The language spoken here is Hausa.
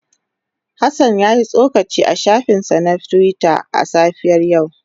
Hassan ya yi tsokaci a shafinsa na Twitter a safiyar yau.